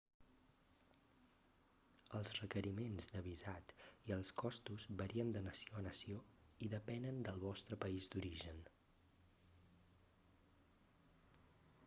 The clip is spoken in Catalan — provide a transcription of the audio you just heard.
els requeriments de visat i els costos varien de nació a nació i depenen del vostre país d'origen